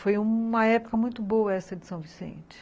Foi uma época muito boa essa de São Vicente.